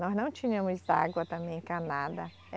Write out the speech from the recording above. Nós não tínhamos água também encanada.